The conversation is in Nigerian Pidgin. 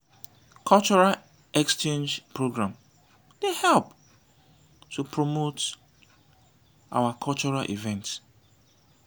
cultural exchange program dey help to promote our cultural events.